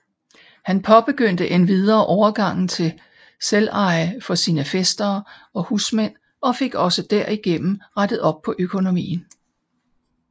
Han påbegyndte endvidere overgangen til selveje for sin fæstere og husmænd og fik også derigennem rettet op på økonomien